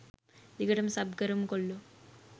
දිගටම සබ් කරමු කොල්ලෝ